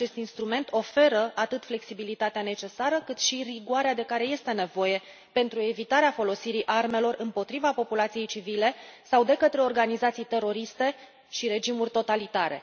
Acest instrument oferă atât flexibilitatea necesară, cât și rigoarea de care este nevoie pentru evitarea folosirii armelor împotriva populației civile sau de către organizații teroriste și regimuri totalitare.